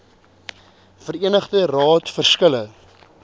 verenigde raad verskille